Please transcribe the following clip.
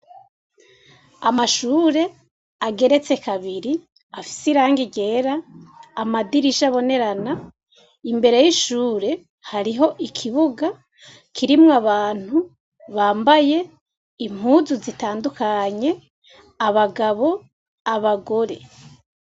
Amashure ageretse kabiri afise irangi ryera amadirisha abonera a imbere yishure hariho ikibuga kiriko abantu bambaye impuzu zitandukanye abagabo abagore.